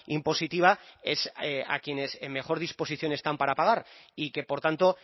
impositiva es a quienes en mejor disposición están para pagar y que por tanto